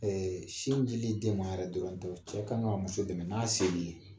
sinjili den ma yɛrɛ dɔrɔn tɛ o ,cɛ kan ka muso dɛmɛ n'a se bi ye